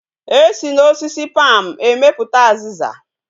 Esi na osisi palm emeputa aziza